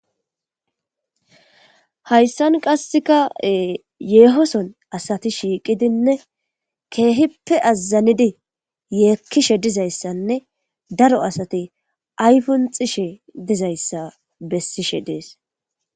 hayssan qasseka yeeho sohon asati shiiqidinne kehippe azanidi yeekkishe dizayssanne daro asati ayipunixishe dizayssa bessishe dees